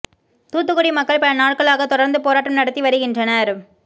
தூத்துக்குடி மக்கள் பல நாட்களாக தொடர்ந்து போராட்டம் நடத்தி வருகின்றனர்